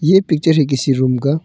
ये पिक्चर है किसी रूम का--